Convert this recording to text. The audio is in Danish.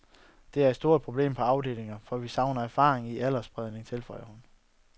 Det er et stort problem på afdelingerne, for vi savner erfaringen og aldersspredningen, tilføjer hun.